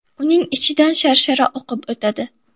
Uning ichidan sharshara oqib o‘tadi.